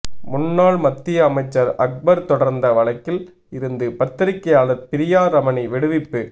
முன்னாள் மத்திய அமைச்சர் அக்பர் தொடர்ந்த வழக்கில் இருந்து பத்திரிக்கையாளர் பிரியா ரமணி விடுவிப்பு